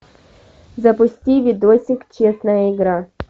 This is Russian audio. запусти видосик честная игра